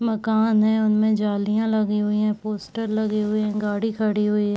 मकान है। उनमें जालिया लगी हुई है। पोस्टर लगे हुए है। गाड़ी खड़ी हुई है।